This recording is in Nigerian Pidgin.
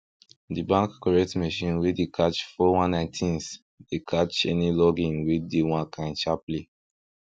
the bank correct machine wey dey catch four one nine tins dey catch any log in wey dey one kind sharply